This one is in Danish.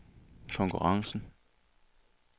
konkurrencen